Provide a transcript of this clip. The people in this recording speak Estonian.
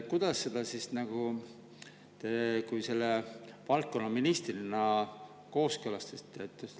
Kuidas te valdkonna ministrina selle kooskõlastasite?